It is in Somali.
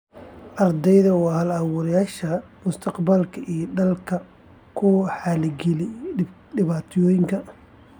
Ardayda waa hal-abuurayaasha mustaqbalka ee dalka iyo kuwa xaliya dhibaatooyinka.